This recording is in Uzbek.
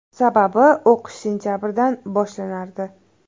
Sababi, o‘qish sentabrdan boshlanardi.